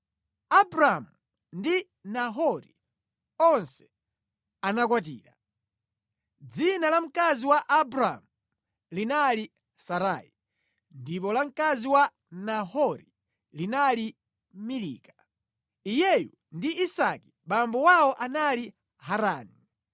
Abramu ndi Nahori onse anakwatira. Dzina la mkazi wa Abramu linali Sarai, ndipo la mkazi wa Nahori linali Milika. Iyeyu ndi Isika abambo awo anali Harani.